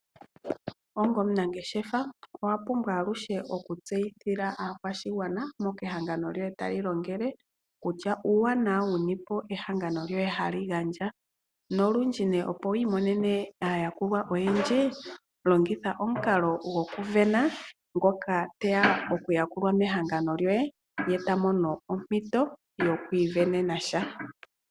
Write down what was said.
Onga omunangeshefa owa pumbwa aluhe okutseyithila aakwashigwana mpoka ehangano lyoye tali adhika, uuwanawa wu ni ehangano lyoye hali gandja. Olundji opo wu imonene aayakulwa oyendji longitha omukalo gokusindana, ngoka te ya okuyakulwa mehangano lyoye, ta mono ompito yokuisindanena sha.